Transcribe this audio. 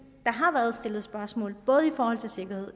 har været stillet spørgsmål både i forhold til sikkerhed